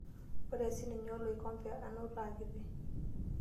Ore sininye oloikembe anato aakiti.